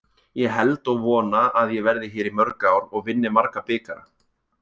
Ég held og vona að ég verði hér í mörg ár og vinni marga bikara.